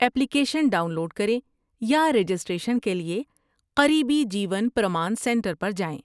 Application download کریں یا registration کے لیے قریبی جیون پرمان سنٹر پر جائیں۔